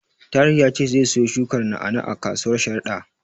Tahir ya ce zai siyo shukar na'a-na'a a kasuwar Sharada.